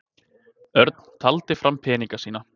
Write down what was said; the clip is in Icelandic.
Örn taldi fram peningana sína.